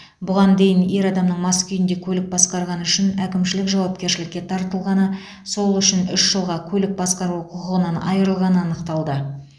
бұған дейін ер адамның мас күйінде көлік басқарғаны үшін әкімшілік жауапкершілікке тартылғаны сол үшін үш жылға көлік басқару құқығынан айырылғаны анықталды